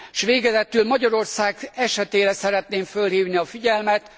És végezetül Magyarország esetére szeretném fölhívni a figyelmet.